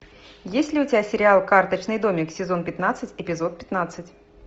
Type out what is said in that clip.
есть ли у тебя сериал карточный домик сезон пятнадцать эпизод пятнадцать